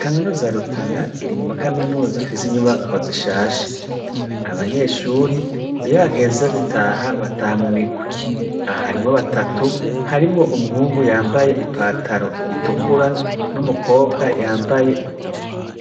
Kaminuza ya Rutana iri muri muma kaminuza afise inyubakwa zishaje, abanyeshure, iyo hageze gutaha bataha mumigwi. Aha harimwo batatu, harimw'umuhungu yambaye i pataro itukura, n'umukobwa yambaye